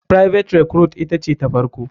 Private recruite ita ce ta farko.